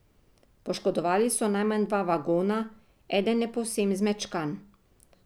Poškodovali so najmanj dva vagona, eden je povsem zmečkan.